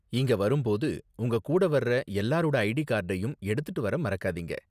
இங்க வரும் போது உங்க கூட வர்ற எல்லாரோட ஐடி கார்டையும் எடுத்துட்டு வர மறக்காதீங்க.